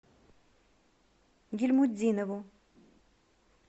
гильмутдинову